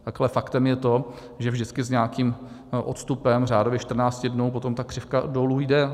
Pak ale faktem je to, že vždycky s nějakým odstupem, řádově 14 dnů, potom ta křivka dolů jde.